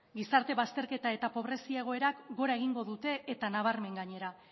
gizarte bazterketa eta pobrezia egoerak gora egingo dute eta nabarmen gainera